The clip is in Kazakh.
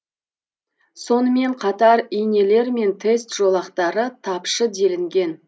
сонымен қатар инелер мен тест жолақтары тапшы делінген